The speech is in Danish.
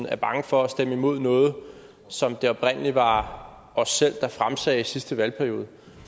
er bange for at stemme imod noget som det oprindelig var os selv der fremsatte i sidste valgperiode